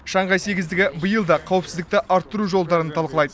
шанхай сегіздігі биыл да қауіпсіздікті арттыру жолдарын талқылайды